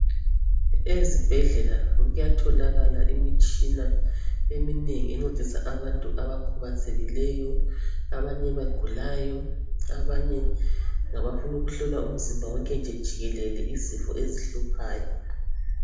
Ezibhedlela kuyatholakala imitshina eminengi encedisa abantu abakhubazekileyo abanye abagulayo, abanye ngabafuna ukuhlolwa umzimba wonke nje jikelele izifo ezihluphayo